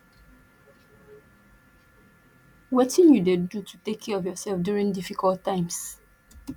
wetin you dey do to take care of yourself during difficult times